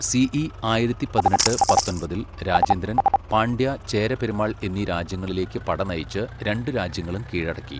CE ആയിരത്തി പതിനെട്ട്, പത്തൊമ്പതിൽ രാജേന്ദ്രൻ, പാണ്ഡ്യ, ചേര പെരുമാൾ എന്നീ രാജ്യങ്ങളിലേക്ക് പടനയിച്ച് രണ്ടു രാജ്യങ്ങളും കീഴടക്കി..